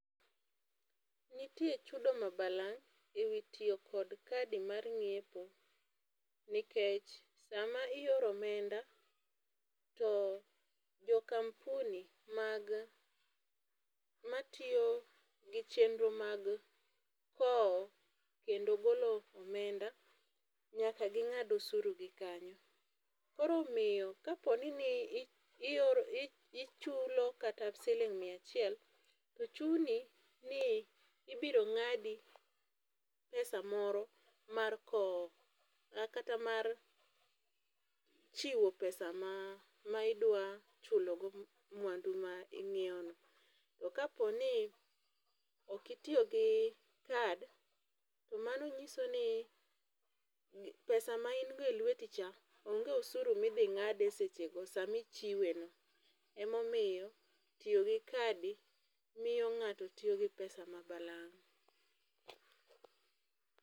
Nitie chudo ma balang' e wi tiyo kod kadi mar ng'iepo nikech, sama ioro omenda to jo kampuni mag matiyo kod chenro mag kowo kendo golo omenda nyaka ging'ad osuru gi kanyo. Koro omiyo kaponi i i ichulo kata siling mia achiel to chuni ni ibiro ng'adi pesa moro mar kowo kata mar chiwo pesa ma ma idwa chulo goo mwandu ma inyiewo no. To kapo ni okitiyo gi kad, tomano nyiso ni pesa ma in go e lweti onge osuru midhi ng'ade sechego. Emomiyo tiyo gi kadi miyo ng'ato tiyo gi pesa ma balang'